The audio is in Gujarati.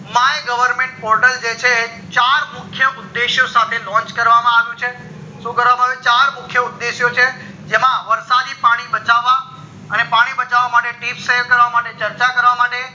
my government portal જે છે ચાર મુખ્ય ઉદ્દેશ્ય સાથે launch કરવામાં આવ્યું છે સુ કરવામાં આવ્યું છે ચાર મુખ્ય ઉદ્દેશ્ય છે જેમાં વરસાદી પાણી બચવા અને પાણી બચવા માટે કરવા માટે ચર્ચા માં છે